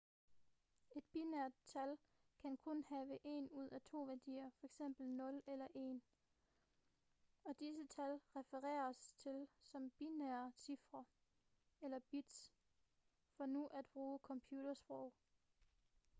et binært tal kan kun have en ud af to værdier f.eks 0 eller 1 og disse tal refereres til som binære cifre eller bits for nu at bruge computersprog